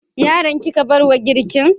Yaran kika barwa girkin?